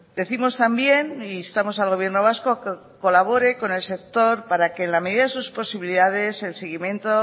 decimos también e instamos al gobierno vasco a que colabore con el sector para que en la medida de sus posibilidades el seguimiento